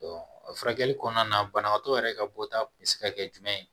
furakɛli kɔnɔna na banabaatɔ yɛrɛ ka bɔta bɛ se ka kɛ jumɛn ye